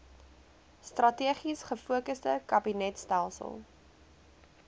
strategies gefokusde kabinetstelsel